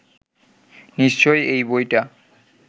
নিশ্চয়ই এই বইটা